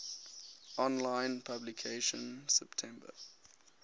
online publication september